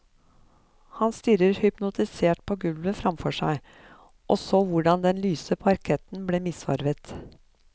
Hun stirret hypnotisert på gulvet framfor seg, og så hvordan den lyse parketten ble misfarget.